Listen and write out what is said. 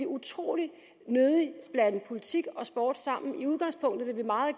utrolig nødig blande politik og sport sammen i udgangspunktet vil vi meget